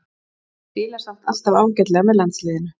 Spilar samt alltaf ágætlega með landsliðinu.